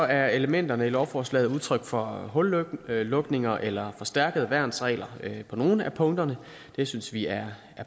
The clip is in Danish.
er elementerne i lovforslaget udtryk for hullukninger eller forstærkede værnsregler på nogle af punkterne det synes vi er